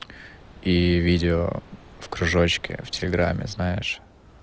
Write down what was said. и видео в кружочке в телеграмме знаешь